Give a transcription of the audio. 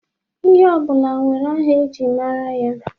Ihe ọ bụla nwere aha e ji mara ya.